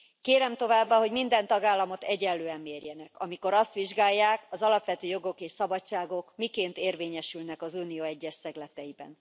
Kérem továbbá, hogy minden tagállamot egyenlően mérjenek, amikor azt vizsgálják, az alapvető jogok és szabadságok miként érvényesülnek az Unió egyes szegleteiben.